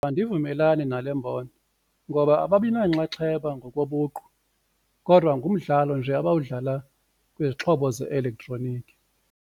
Andivumelani nale mbono ngoba ababinanxaxheba ngokobuqu kodwa ngumdlalo nje abawudlala kwizixhobo ze-elektroniki.